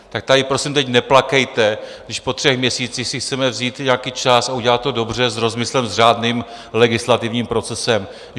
Tak tady prosím teď neplakejte, když po třech měsících si chceme vzít nějaký čas a udělat to dobře, s rozmyslem, s řádným legislativním procesem.